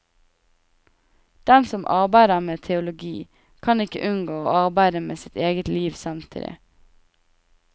Den som arbeider med teologi, kan ikke unngå å arbeide med sitt eget liv samtidig.